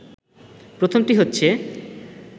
প্রথমটি হচ্ছে